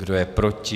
Kdo je proti?